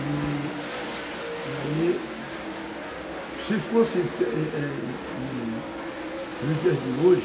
E aí, se fosse, é, é, nos dias de hoje,